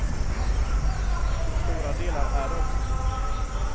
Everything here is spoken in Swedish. Till stora delar är det också så.